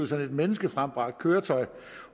sådan et menneskefremført køretøj